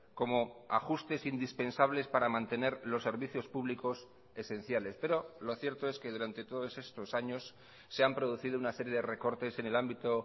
como ajustes indispensables para mantener los servicios públicos esenciales pero lo cierto es que durante todos estos años se han producido una serie de recortes en el ámbito